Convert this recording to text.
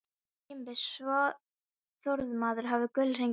Kimbi sá að Þormóður hafði gullhring á hendi.